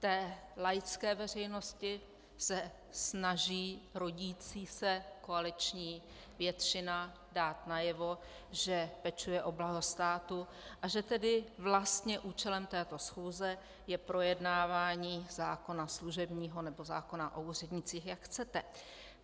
Té laické veřejnosti se snaží rodící se koaliční většina dát najevo, že pečuje o blaho státu a že tedy vlastně účelem této schůze je projednávání zákona služebního, nebo zákona o úřednících, jak chcete.